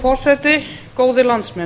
forseti góðir landsmenn